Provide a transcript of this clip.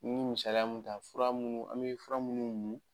N ye misaliya min ta fura munnu an bɛ fura munnu min.